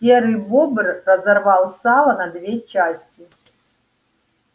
серый бобр разорвал сало на две части